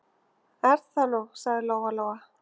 Er það nú, sagði Lóa-Lóa.